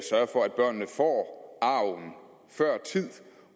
for at børnene får arven før tid